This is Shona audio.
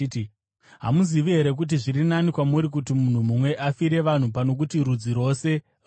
Hamuzivi here kuti zviri nani kwamuri kuti munhu mumwe afire vanhu pano kuti rudzi rwose ruparare.”